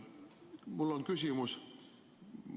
Mul on küsimus.